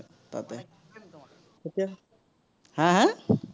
হা হা?